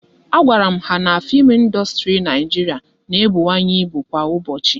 A gwara m ha na fim ịndustri Naijiria na-ebuwanye ịbụ kwa ụbọchị